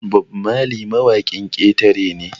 Bob Marley mawakin ƙetare ne